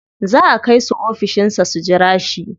Za a kai su ofishin sa su jira shi.